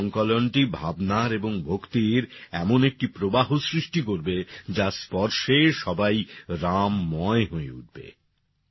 এই সংকলনটি ভাবনার এবং ভক্তির এমন একটি প্রবাহ সৃষ্টি করবে যার স্পর্শে সবাই রামময় হয়ে উঠবে